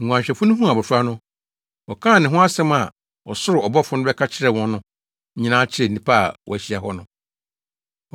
Nguanhwɛfo no huu abofra no, wɔkaa ne ho asɛm a ɔsoro ɔbɔfo no bɛka kyerɛɛ wɔn no nyinaa kyerɛɛ nnipa a wɔahyia wo hɔ no.